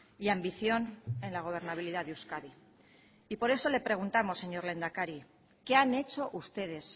y ambición en la gobernabilidad de euskadi y por eso le preguntamos señor lehendakari qué han hecho ustedes